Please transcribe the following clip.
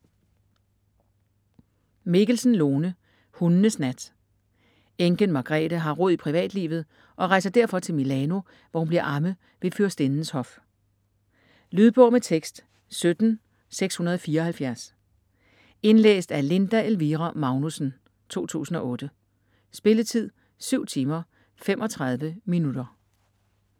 Mikkelsen, Lone: Hundenes nat Enken Margrethe har rod i privatlivet og rejser derfor til Milano, hvor hun bliver amme ved fyrstindens hof. Lydbog med tekst 17674 Indlæst af Linda Elvira Magnussen, 2008. Spilletid: 7 timer, 35 minutter.